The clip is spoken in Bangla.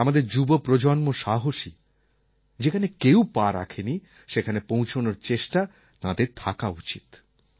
আমাদের যুব প্রজন্ম সাহসী যেখানে কেউ পা রাখেনি সেখানে পৌঁছনোর চেষ্টা তাঁদের থাকা উচিত